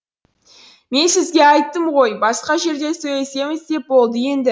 мен сізге айттым ғой басқа жерде сөйлесеміз деп болды енді